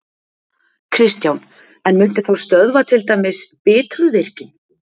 Kristján: En muntu þá stöðva til dæmis Bitruvirkjun?